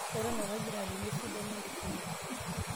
eton ake agira alimu esidano ee enkisuma